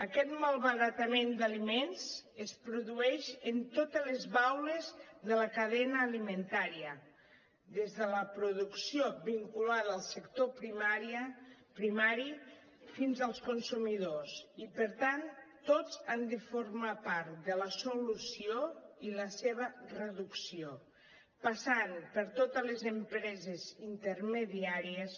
aquest malbaratament d’aliments es produeix en totes les baules de la cadena alimentària des de la producció vinculada al sector primari fins als consumidors i per tant tots han de formar part de la solució i la seva reducció passant per totes les empreses intermediàries